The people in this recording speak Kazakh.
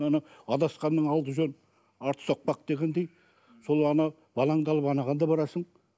ана адасқанның алды жөн арты соқпақ дегендей сол ана балаңды алып анаған да барасың